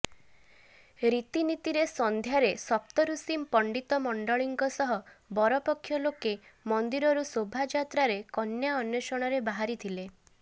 ରୀତିନିତୀରେ ସନ୍ଧ୍ୟାରେ ସପ୍ତରୁଷି ପଣ୍ଡିତ ମଣ୍ଡଳୀଙ୍କ ସହ ବରପକ୍ଷ ଲୋକେ ମନ୍ଦିରରୁ ଶୋଭାଯାତ୍ରାରେ କନ୍ୟା ଅନ୍ୱେଷଣରେ ବାହାରିଥିଲେ